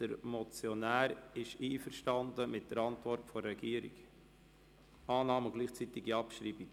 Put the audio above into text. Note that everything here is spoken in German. Der Motionär ist mit der Antwort der Regierung einverstanden: Annahme und gleichzeitige Abschreibung.